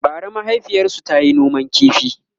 bara mahaifiyarsu tayi noman ƙifi